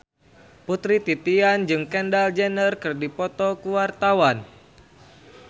Putri Titian jeung Kendall Jenner keur dipoto ku wartawan